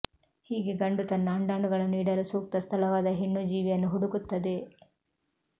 ಹೀಗೆ ಗಂಡು ತನ್ನ ಅಂಡಾಣುಗಳನ್ನು ಇಡಲು ಸೂಕ್ತ ಸ್ಥಳವಾದ ಹೆಣ್ಣು ಜೀವಿಯನ್ನು ಹುಡುಕುತ್ತದೆ